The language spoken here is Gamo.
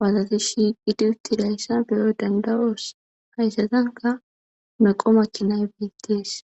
waatati shiiqidi utti dayssa beyo dandaroos hayssatanka meqo makkinay biittees.